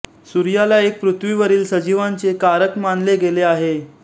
सूर्याला एक पृथ्वीवरील सजीवांचे कारक मानले गेले आहेत